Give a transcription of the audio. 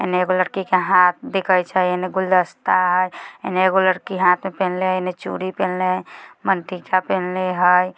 एने एगो लड़की के हाथ दिखाइछ एने गुलदस्ता हई एने एगो लड़की हाथ में पेहनले एने चूड़ी पेहनले मंतीखा पेहनले हई।